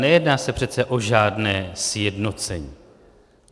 Nejedná se přece o žádné sjednocení.